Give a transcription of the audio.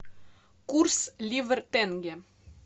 курс ливр тенге